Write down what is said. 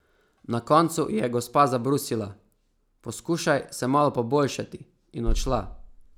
Na koncu ji je gospa zabrusila: "Poskušaj se malo poboljšati," in odšla.